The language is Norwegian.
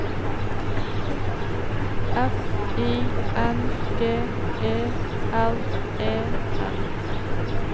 F I N G E R E N